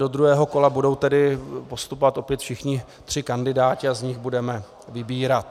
Do druhého kola budou tedy postupovat opět všichni tři kandidáti a z nich budeme vybírat.